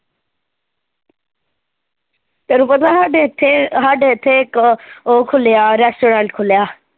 ਤੈਨੂੰ ਪਤਾ ਸਾਡੇ ਏਥੇ ਸਾਡੇ ਹੇਥੇ ਇੱਕ ਓਹ ਖੁੱਲਿਆ ਰੈਸਟੋਰੇਂਟ ਖੁੱਲਿਆ